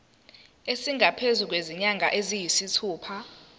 esingaphezu kwezinyanga eziyisithupha